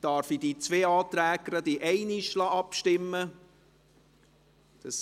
Darf ich gleich in einem über diese zwei Anträge abstimmen lassen?